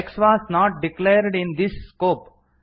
x was not declared in this scope